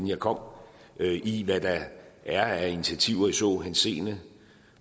jeg kom i hvad der er af initiativer i så henseende